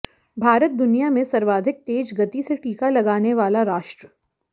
भारत दुनिया में सर्वाधिक तेज गति से टीका लगाने वाला राष्ट्र